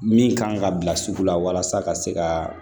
Min kan ka bila sugu la walasa ka se ka